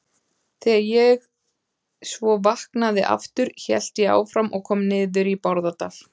Þegar ég svo vaknaði aftur hélt ég áfram og kom niður í Bárðardal.